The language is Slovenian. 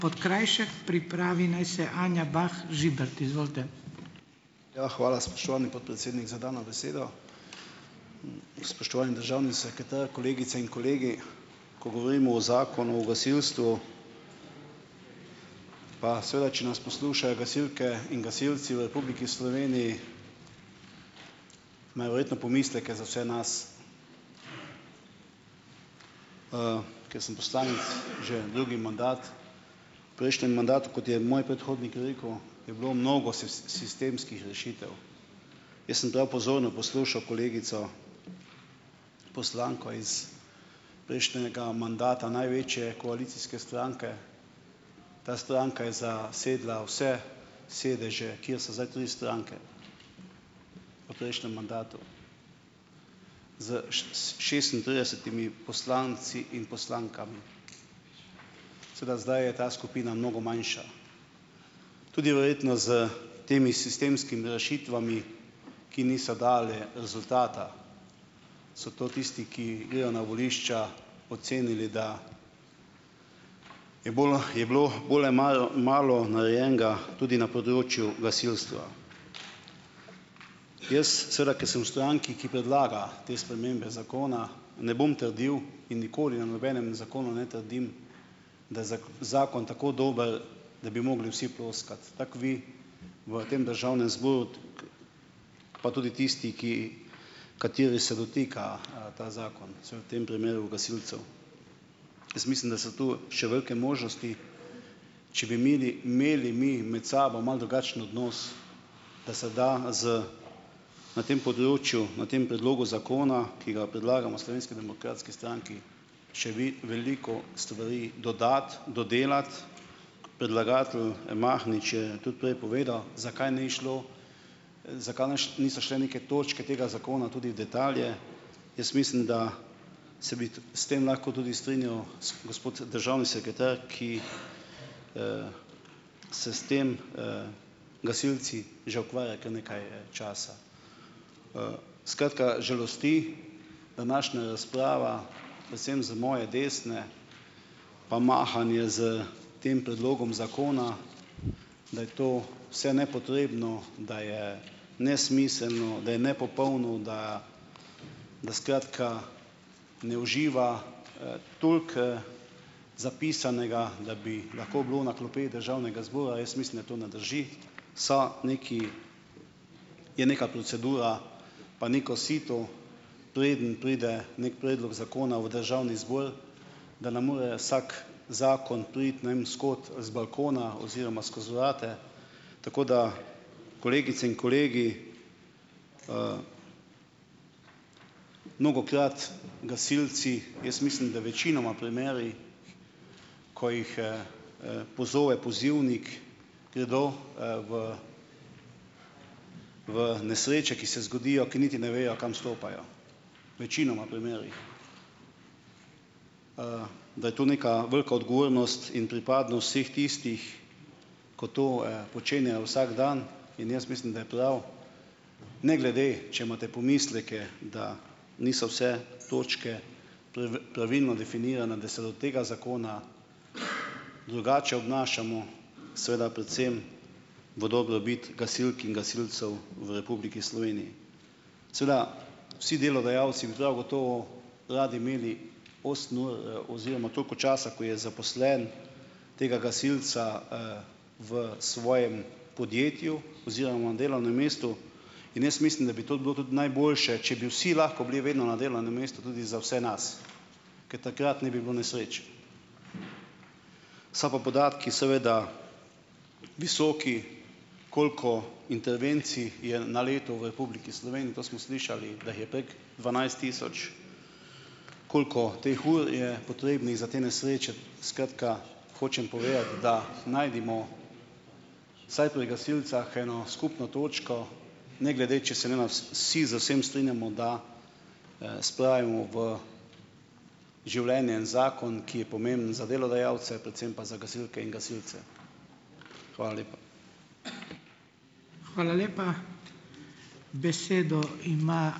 Ja, hvala, spoštovani podpredsednik, za dano besedo. Spoštovani državni sekretar, kolegice in kolegi! Ko govorimo o Zakonu o gasilstvu, pa seveda če nas poslušajo gasilke in gasilci v Republiki Sloveniji, imajo verjetno pomisleke za vse nas. Ker sem poslanec že drugi mandat, v prejšnjem mandatu, kot je moj predhodnik rekel, je bilo mnogo sistemskih rešitev. Jaz sem prav pozorno poslušal kolegico poslanko iz prejšnjega mandata največje koalicijske stranke, ta stranka je zasedla vse sedeže, kjer so zdaj tudi stranke v prejšnjem mandatu z šestintridesetimi poslanci in poslankami. Seveda zdaj je ta skupina mnogo manjša. Tudi verjetno s temi sistemskimi rešitvami, ki niso dale rezultata, so to tisti, ki grejo na volišča, ocenili, da je bolj je bilo bolj malo narejenega tudi na področju gasilstva. Jaz seveda, ker sem v stranki, ki predlaga te spremembe zakona, ne bom trdil, in nikoli na nobenem zakonu ne trdim, da je zakon tako dober, da bi mogli vsi ploskati. Tako vi v tem državnem zboru, pa tudi tisti, ki, kateri se dotika, ta zakon, seveda v tem primeru gasilcev. Jaz mislim, da so tu še velike možnosti, če bi imeli imeli mi med sabo malo drugačen odnos, da se da z na tem področju, na tem predlogu zakona, ki ga predlagamo Slovenski demokratski stranki, še vi veliko stvari dodati, dodelati, predlagatelj, Mahnič je tudi prej povedal, zakaj ni šlo, zakaj naš niso šle neke točke tega zakona tudi detalije. Jaz mislim, da se bi t s tem lahko tudi strinjal gospod državni sekretar, ki se s tem, gasilci, že ukvarja kar nekaj časa. Skratka, žalosti današnja razprava predvsem z moje desne, pa mahanje s tem predlogom zakona, da je to vse nepotrebno, da je nesmiselno, da je nepopolno, da da skratka ne uživa, toliko, zapisanega, da bi lahko bilo na klopeh državnega zbora, jaz mislim, da to ne drži. Je neka procedura pa neko sito, preden pride neki predlog zakona v državni zbor, da ne more vsak zakon priti ne vem s kod, z balkona oziroma skozi urade, tako da kolegice in kolegi, mnogokrat gasilci, jaz mislim, da večinoma primeri, ko jih, pozove pozivnik, gredo v nesreče, ki se zgodijo, ki niti ne vejo, kam stopajo. večinoma primerih. Da je to neka velika odgovornost in pripadnost vseh tistih, ko to, počenjajo vsak dan, in jaz mislim, da je prav, ne glede če imate pomisleke, da niso vse točke pravilno definirane, da se od tega zakona drugače obnašamo, seveda predvsem v dobrobit gasilk in gasilcev v Republiki Sloveniji. Seveda vsi delodajalci bi prav gotovo radi imeli osem ur, oziroma toliko časa, ko je zaposlen, tega gasilca v svojem podjetju oziroma delovnem mestu in jaz mislim, da bi tudi bilo tudi najboljše, če bi vsi lahko bili vedno na delovnem mestu tudi za vse nas, ker takrat ne bi bilo nesreč. So pa podatki seveda visoki, koliko intervencij je na leto v Republiki Sloveniji. To smo slišali, da jih je prek dvanajst tisoč. Koliko teh ur je potrebnih za te nesreče, skratka, hočem povedati, da najdimo vsaj pri gasilcih eno skupno točko, ne glede, če se ne vsi z vsem strinjamo, da spravimo v življenje en zakon, ki je pomemben za delodajalce, predvsem pa za gasilke in gasilce. Hvala lepa.